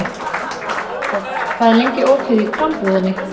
Sveinborg, hvað er lengi opið í Krambúðinni?